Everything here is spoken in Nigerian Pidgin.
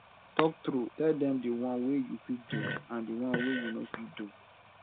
talk true tell dem di won wey you fit do and di one wey you no fit do